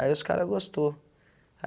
Aí os caras gostou.